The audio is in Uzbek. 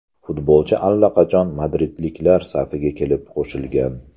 Futbolchi allaqachon madridliklar safiga kelib qo‘shilgan.